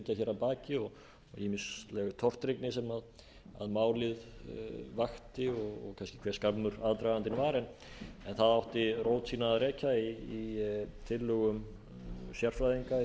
að baki og ýmisleg tortryggni sem málið vakti og kannski hve skammur aðdragandinn var það átti rót sína að rekja í tillögum sérfræðinga í því að fást